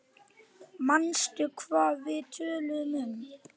Manstu hvað við töluðum um?